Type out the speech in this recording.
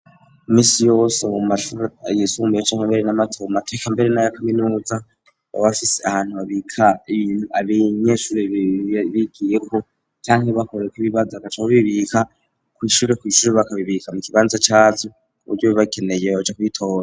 Misi yowsobau mashuru yisumbuyec'kimere n'amatobu mateka mbere n'aya kaminuza babafise ahantu babika ibintu abiy inyeshure biiii bigiyeko canke bakore ko ibibaza gacoko bibika kwishure kw'ishuru bakabibika mu kibanza cazu ku buryo bibakeneye boja kwitora.